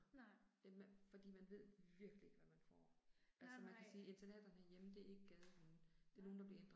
Nej. Nej nej. Nej